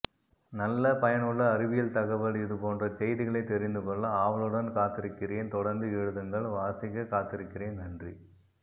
நல்ல பயனுள்ள அறிவியல் தகவல் இது போன்ற செய்திகளை தெரிந்துகொள்ள ஆவலுடன் காத்திருக்கிறேன் தொடர்ந்து எழுதுங்கள் வாசிக்ககாத்திருக்கிறேன் நன்றி